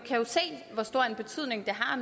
har